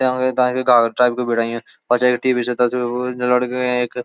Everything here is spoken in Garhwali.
याहां मां गोला टेप भिड़ायू ओ या टी.वी. च तखा मंग त तब लग्यु एक।